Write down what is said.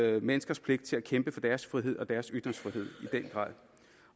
alle menneskers pligt at kæmpe for deres frihed og deres ytringsfrihed